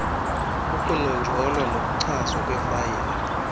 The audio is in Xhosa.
ukunonjolwa nokuchazwa kweefayile